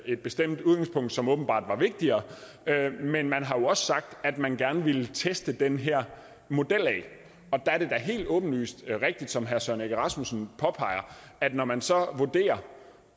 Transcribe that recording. et bestemt udgangspunkt som åbenbart var vigtigere men man har jo også sagt at man gerne ville teste den her model og der er det da helt åbenlyst rigtigt som herre søren egge rasmussen påpeger at når man så vurderer